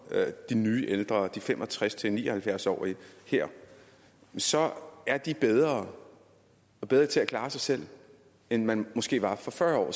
de nye ældre de fem og tres til ni og halvfjerds årige her så er de bedre bedre til at klare sig selv end man måske var for fyrre år